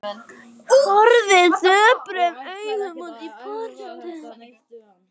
Horfði döprum augum út í portið.